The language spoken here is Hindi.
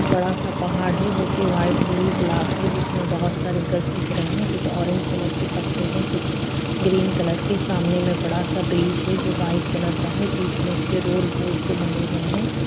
बड़ा सा पहाड़ है जो की व्हाइट ब्लू ब्लैक है जिसमे बहुत सारे कलर दिख रहे है कुछ ऑरेंज कलर के पत्ते है कुछ ग्रीन कलर के सामने मे एक बड़ा सा ब्रिज है जो व्हाइट कलर का है बीच मे उसके रोड पूल से बंधे हुए है में--